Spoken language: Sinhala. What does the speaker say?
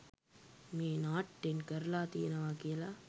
මේ නාට්‍යයෙන් කරලා තියෙනවා කියලා